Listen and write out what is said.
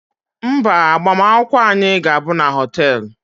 Mba, agbamakwụkwọ anyị ga-abụ na họteelụ